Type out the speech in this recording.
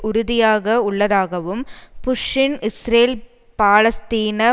உறுதியாக உள்ளதாகவும் புஷ்ஷின் இஸ்ரேல் பாலஸ்தீன